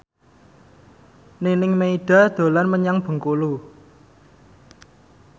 Nining Meida dolan menyang Bengkulu